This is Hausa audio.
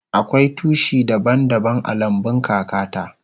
Akwai tushi daban daban a lambun kaka ta.